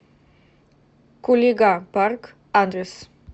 кулига парк адрес